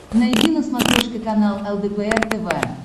найди на смотрешке канал лдпр тв